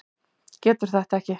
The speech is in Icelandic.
Getur þetta ekki.